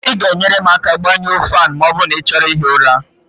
ị ga-enyere m aka gbañụọ ​​​​Fan ma ọ bụrụ na ị chọrọ ihi ụra?